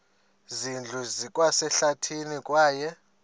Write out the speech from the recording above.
zindlu zikwasehlathini kwaye